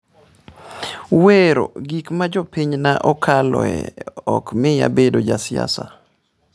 "Wero gik ma jopinyna okaloe ok miya bedo ja siasa."